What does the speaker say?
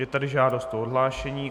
Je tady žádost o odhlášení.